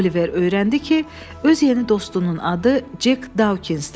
Oliver öyrəndi ki, öz yeni dostunun adı Cek Daukinsdir.